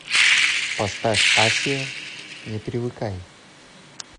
поставь асия не привыкай